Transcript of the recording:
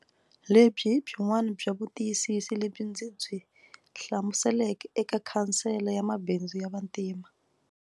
Lebyi hi byin'wana bya vutiyisisi lebyi ndzi byi hlamuseleke eka Khansele ya Mabindzu ya Vantima.